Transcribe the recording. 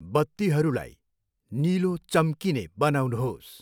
बत्तीहरूलाई निलो चम्किने बनाउनुहोस्